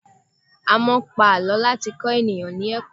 A máa ń pa àlọ́ láti kọ́ ènìyàn lékọ̀ọ́.